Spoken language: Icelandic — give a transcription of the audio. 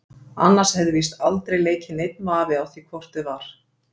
Annars hefði víst aldrei leikið neinn vafi á því hvort eð var.